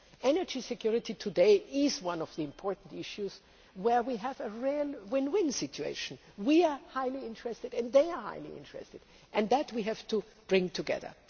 security. Energy security today is one of the important issues where we have a real win win situation we are highly interested and they are highly interested. We have to bring that together.